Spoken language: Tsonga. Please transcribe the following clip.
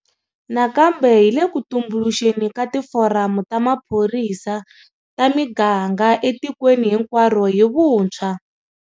Nakambe hi le ku tumbuluxeni ka tiforamu ta maphorisa ta miganga etikweni hinkwaro hi vuntshwa.